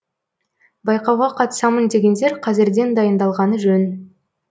байқауға қатысамын дегендер қазірден дайындалғаны жөн